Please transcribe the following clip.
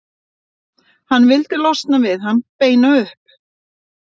Hann vildi losna við hann, beina upp